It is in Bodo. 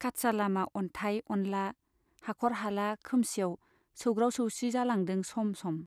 काच्चा लामा अन्थाइ अनला, हाख'र हाला खोमसियाव सौग्राव सौसि जालांदों सम सम।